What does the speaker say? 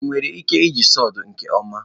ị nwere ike iji sawdu nke ọma?